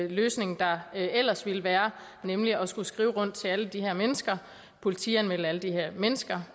løsning der ellers ville være nemlig at skulle skrive rundt til alle de her mennesker politianmelde alle de her mennesker